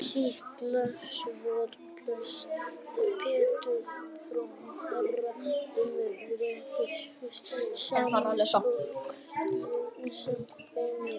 Skýrsla Sólveigar Pétursdóttur dómsmálaráðherra um réttarstöðu sambúðarfólks, samkvæmt beiðni.